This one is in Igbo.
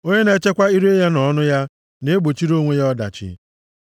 Onye na-echekwa ire ya na ọnụ ya na-egbochiri onwe ya ọdachi.